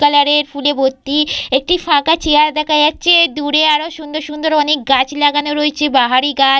Colour -এর ফুলে ভর্তি। একটি ফাঁকা চেয়ার দেখা যাচ্ছে। দূরে অনেক সুন্দর সুন্দর অনেক গাছ লাগানো রয়েছে বাহারি গাছ।